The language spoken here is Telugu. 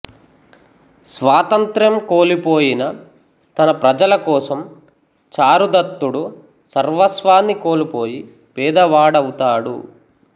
స్వాతంత్ర్యం కోల్పోయిన తన ప్రజల కోసం చారుదత్తుడు సర్వస్వాన్ని కోల్పోయి పేదవాడవుతాడు